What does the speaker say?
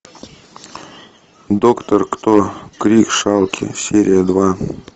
доктор кто крик шалки серия два